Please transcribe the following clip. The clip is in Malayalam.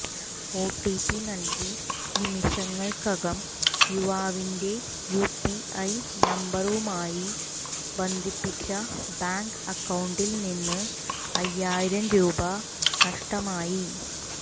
ഒടിപി നൽകി നിമിഷങ്ങൾക്കകം യുവാവിന്റെ യുപിഐ നമ്പരുമായി ബന്ധിപ്പിച്ച ബാങ്ക് അക്കൌണ്ടിൽനിന്ന് അയ്യായിരം രൂപ നഷ്ടമായി